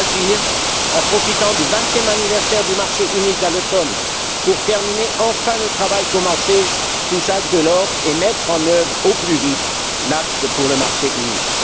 Agir en profitant du 20e anniversaire du marché unique, à l'automne, pour terminer enfin le travail commencé sous Jacques Delors, et mettre en œuvre au plus vite l'Acte pour le marché unique.